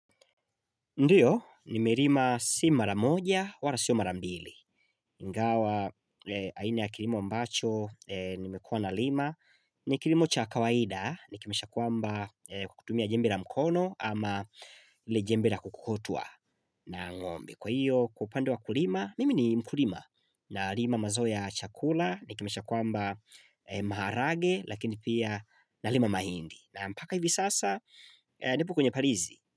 Ndiyo, nimerima si mara moja, wala si mara mbili. Ingawa, aina ya kirimo ambacho, nimekuwa nalima. Ni kirimo cha kawaida, nikimaanisha kwamba kutumia jembe ra mkono ama ile jembe ra kukokotwa na ng'ombe. Kwa hiyo, kwa upande wa ukulima, mimi ni mkulima nalima mazao ya chakula, nikimaanisha kwamba maharage, lakini pia nalima mahindi. Na mpaka hivi sasa, nipo kwenye parizi.